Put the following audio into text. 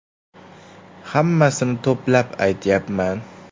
Hammasini to‘plab aytyapman.